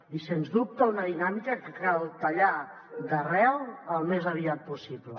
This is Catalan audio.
i sens dubte una dinàmica que cal tallar d’arrel al més aviat possible